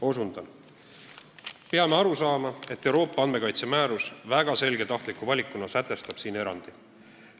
Osundan: "Me peame aru saama, et Euroopa andmekaitse määrus väga selge tahtliku valikuna sätestab siin erandi.